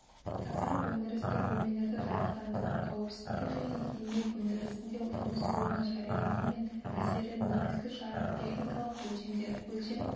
тақырып өндірістік бөлмелерді жарықтандыру қауіпсіздік және еңбек өндірісіне жұмыс орны жариялылығының әсері негізгі жарық техникалық өлшемдер өлшем